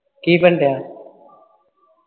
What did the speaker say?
ਕੀ ਬਣਣ ਡਆ